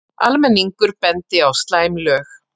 Almenningur bendi á slæm lög